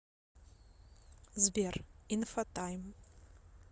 сбер инфотайм